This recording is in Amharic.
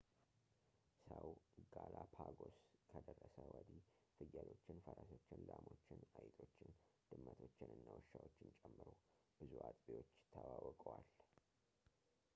ሰው ጋላፓጎስ ከደረሰ ወዲህ ፍየሎችን ፈረሶችን ላሞችን አይጦችን ድመቶችን እና ውሻዎችን ጨምሮ ብዙ አጥቢዎች ተዋውቀዋል